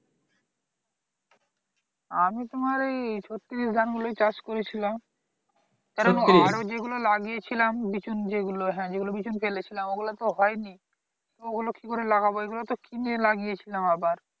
আমি তোমার ওই ছত্তিশ ধানগুলোই চাষ করেছিলাম কারণ আরো যেগুলো লাগিয়েছিলাম বিচুন যেগুলো হ্যাঁ যেগুলো বিচুন ফেলেছিলাম ঐগুলো তো হয়নি এবার কি করে লাগাবো এগুলোতো কিনে লাগিয়েছিলাম আবার